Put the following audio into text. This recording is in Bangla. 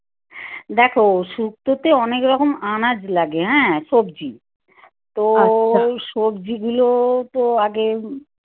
দেখো শুক্তো তে অনেক রকম আনাজ লাগে হ্যাঁ সবজি তো সবজি গুলো তো আগে